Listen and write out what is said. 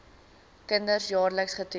kinders jaarliks getoets